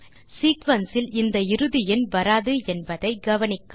sequence இல் இந்த இறுதி எண் வராது என்பதை கவனிக்கவும்